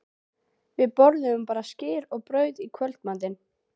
Við borðuðum bara skyr og brauð í kvöldmatinn.